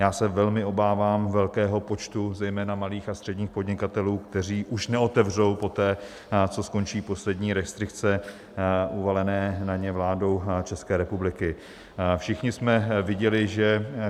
Já se velmi obávám velkého počtu zejména malých a středních podnikatelů, kteří už neotevřou poté, co skončí poslední restrikce uvalené na ně vládou České republiky.